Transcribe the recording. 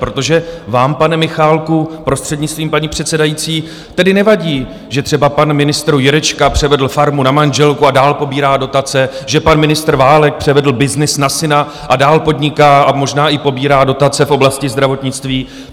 Protože vám, pane Michálku, prostřednictvím paní předsedající, tedy nevadí, že třeba pan ministr Jurečka převedl farmu na manželku a dál pobírá dotace, že pan ministr Válek převedl byznys na syna a dál podniká a možná i pobírá dotace v oblasti zdravotnictví?